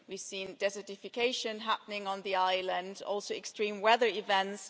We've seen desertification happening on the island, also extreme weather events.